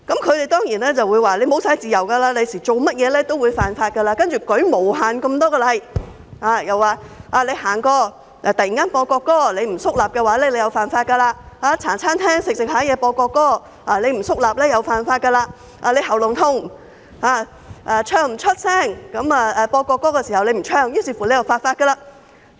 他們當然說日後會失去自由，做甚麼事情也會犯法，舉出無限個例子：過路時突然播國歌，不肅立便犯法；在茶餐廳進餐時播國歌，不肅立便犯法；因咽喉痛而在播國歌時不能開聲唱，又是犯法。